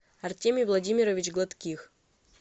артемий владимирович гладких